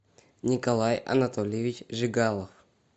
николай анатольевич жигалов